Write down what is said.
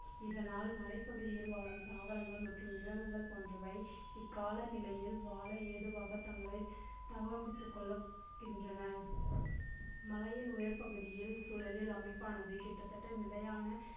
இதனால் மலைப்பகுதியில் வாழும் தாவரங்கள் மற்றும் விலங்குகள் போன்றவை இக்கால நிலையில் வாழ ஏதுவாக தங்களை கொள்கின்றன. மலையின் உயர் பகுதியில் சூழலில் அமைப்பானது கிட்டத்தட்ட நிலையான